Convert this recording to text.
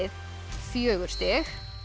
fjögur stig